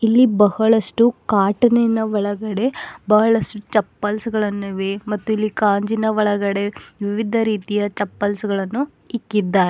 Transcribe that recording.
ಇಲ್ಲಿ ಬಹಳಷ್ಟು ಕಾಟಿನ ಒಳಗಡೆ ಬಹಳಷ್ಟು ಚಪ್ಪಲ್ಸ್ ಗಳನ್ನು ಇವೆ ಮತ್ತು ಇಲ್ಲಿ ಕಾಂಜಿನ ಒಳಗಡೆ ವಿವಿಧ ರೀತಿಯ ಚಪ್ಪಲ್ಸ್ ಗಳನ್ನು ಇಟ್ಟಿದ್ದಾರೆ.